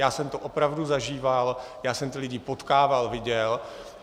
Já jsem to opravdu zažíval, já jsem ty lidi potkával, viděl.